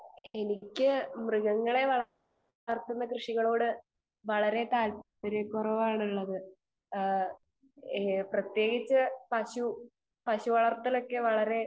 speaker 2 എനിക്ക് മൃഗങ്ങളെ വളർത്തുന്ന കൃഷികളോട് വളരെ താൽപര്യക്കുറവ് ആണ് ഉള്ളത് പ്രത്യേകിച്ച് പശു പശു വളർത്തൊലോക്കെ വളരെ